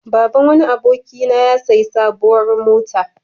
Baban wani abokina ya sayi sabuwar mota.